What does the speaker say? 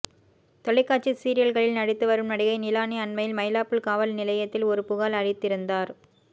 தொலைக்காட்சி சீரியல்களில் நடித்து வரும் நடிகை நிலானி அண்மையில் மயிலாப்பூர் காவல் நிலையத்தில் ஒரு புகார் அளித்திருந்தார்